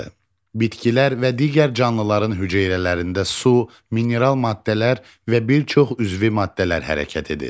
Bitkilər və digər canlıların hüceyrələrində su, mineral maddələr və bir çox üzvi maddələr hərəkət edir.